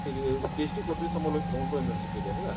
ସେ ବି PhD କରୁଥିସି ସମ ସମ୍ବଲପୁର unniversity ରେ ହେଲା